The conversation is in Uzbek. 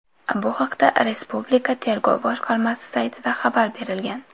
Bu haqda Respublika tergov boshqarmasi saytida xabar berilgan .